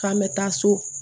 K'an bɛ taa so